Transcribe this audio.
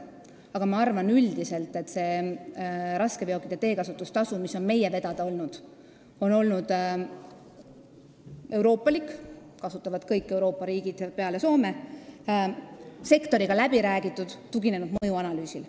Aga ma arvan üldiselt, et raskeveokite teekasutustasu, mis on meie ministeeriumi vedada olnud, on euroopalik – seda kasutavad kõik Euroopa riigid peale Soome –, sektoriga läbi räägitud ja see on tuginenud mõjuanalüüsile.